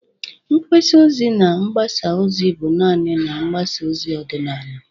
Mgbasa ozi na mgbasa ozi bụ naanị na mgbasa ozi ọdịnala.